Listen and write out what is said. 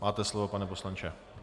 Máte slovo, pane poslanče.